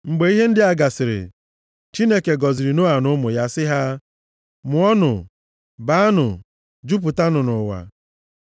Mgbe ihe ndị a gasịrị, Chineke gọziri Noa na ụmụ ya sị ha: “Mụọnụ, baanụ, jupụtanụ nʼụwa.